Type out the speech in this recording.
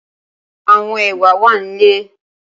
Awọn ewa wa ni ile.